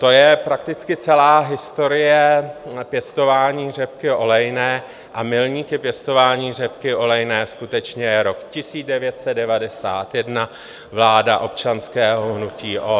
To je prakticky celá historie pěstování řepky olejné a milníkem pěstování řepky olejné skutečně je rok 1991, vláda občanského hnutí ODS.